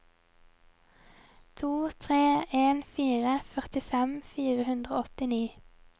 to tre en fire førtifem fire hundre og åttini